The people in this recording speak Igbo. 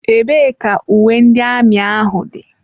Ebee ka uwe ndị amị ahụ dị?